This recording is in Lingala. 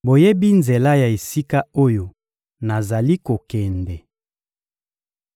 Boyebi nzela ya esika oyo nazali kokende.